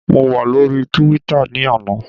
Mo wà lóríi túwítà ní àná